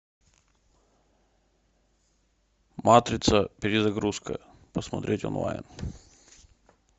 матрица перезагрузка посмотреть онлайн